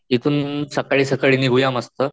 ईथुन सकाळी सकाळी निघूया मस्त.